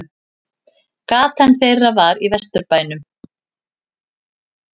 Gatan þeirra var í Vesturbænum.